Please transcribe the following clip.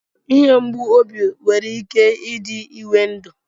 Ihe mgbụ obi nwere ike ịdị ịwé ndụ